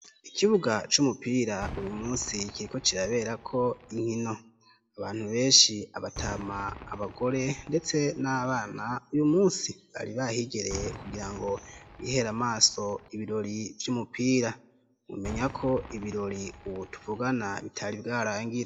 ikibuga cumupira uyu munsi kiri ko kirabera ko inkino abantu benshi abatama abagore ndetse nabana uyu munsi bari bahigereye kugira ngo bihera amaso ibirori vyumupira umenya ko ibirori ubu tuvugana bitari bwarangire